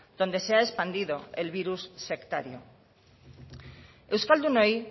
donde se ha expandido el virus sectario euskaldunei